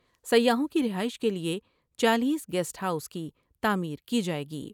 سیاحوں کی رہائش کے لئے چالیس گیسٹ ہاؤس کی تعمیر کی جائے گی ۔